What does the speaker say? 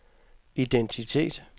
identitet